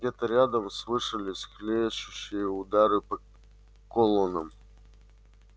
где-то рядом слышались хлещущие удары по колоннам